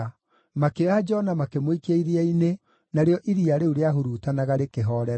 Makĩoya Jona makĩmũikia iria-inĩ, narĩo iria rĩu rĩahurutanaga rĩkĩhoorera.